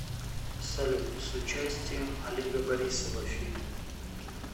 салют с участием олега борисова фильм